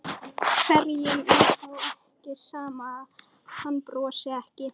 Hverjum er þá ekki sama að hann brosi ekki?